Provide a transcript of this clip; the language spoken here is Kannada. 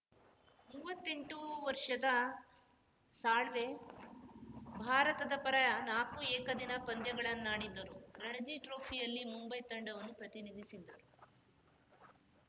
ಮೂವತ್ತೆಂಟು ವರ್ಷದ ಸಾಳ್ವೆ ಭಾರತದ ಪರ ನಾಕು ಏಕದಿನ ಪಂದ್ಯಗಳನ್ನಾಡಿದ್ದರು ರಣಜಿ ಟ್ರೋಫಿಯಲ್ಲಿ ಮುಂಬೈ ತಂಡವನ್ನು ಪ್ರತಿನಿಧಿಸಿದ್ದರು